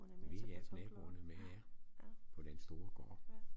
Vi hjalp naboerne med det ja på den store gård